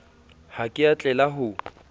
ha ke a tlela ho